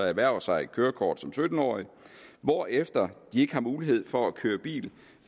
erhverver sig et kørekort som sytten årige hvorefter de ikke har mulighed for at køre bil